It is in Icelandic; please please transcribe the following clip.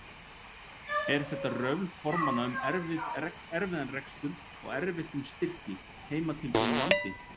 Er þetta röfl formanna um erfiðan rekstur og erfitt um styrki, heimatilbúinn vandi?